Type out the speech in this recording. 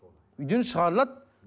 үйден шығарылады